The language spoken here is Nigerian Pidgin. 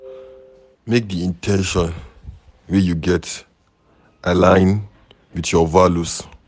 Make di in ten tions wey you get align with your values